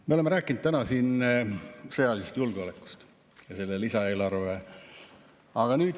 Me oleme rääkinud täna siin sõjalisest julgeolekust ja lisaeelarvest.